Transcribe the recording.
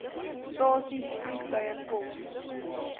stasies vliegtuie kof